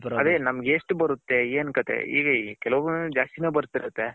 ಅದೇ ನಮ್ಮಗೆ ಎಷ್ಟು ಬರುತ್ತೆ ಎನ್ ಕತೆ ಬರ್ತಿರುತ್ತೆ.